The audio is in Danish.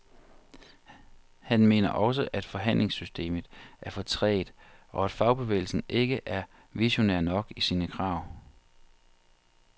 Han mener også, at forhandlingssystemet er for trægt, og at fagbevægelsen ikke er visionær nok i sine krav.